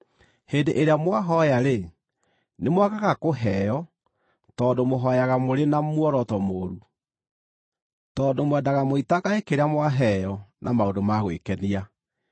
Hĩndĩ ĩrĩa mwahooya-rĩ, nĩmwagaga kũheo, tondũ mũhooyaga mũrĩ na muoroto mũũru, tondũ mwendaga mũitangage kĩrĩa mwaheo na maũndũ ma gwĩkenia.